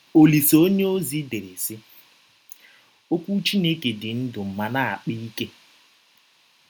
Ọlise onyeọzi dere, sị: “ Ọkwụ Chineke dị ndụ ma na - akpa ike. ”